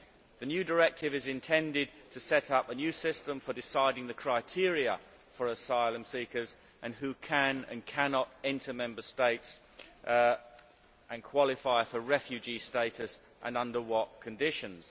The new directive is intended to set up a new system for deciding the criteria for asylum seekers who can and cannot enter Member States and qualify for refugee status and under what conditions.